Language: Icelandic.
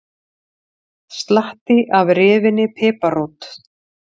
Slatti af rifinni piparrót